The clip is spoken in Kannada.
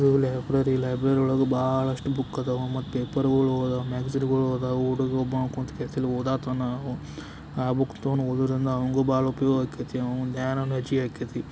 ಇದು ಲೈಬ್ರರಿ ಲೈಬ್ರರಿ ಒಳಗರ್ ಬಹಳಷ್ಟು ಬುಕ್ ಇದಾವು ಮತ್ತೆ ಪೇಪರ್ಗಳು ಆದವು ಮ್ಯಾಕ್ಸಿರಿಗಳು ಇದಾವು ಹುಡುಗ ಒಬಾವ್ ಕೂತ ಓದಾತನ ಬುಕ್ ತೊಗೊಂದ್ ಓದುದರಿಂದ್ ಅವಂಗೂ ಬಹಳ ಉಪಯೋಗ ಆಗತೈತಿ ಆವಂದ್ ಧ್ಯಾನ ಹೆಚಾಗತೈತಿ.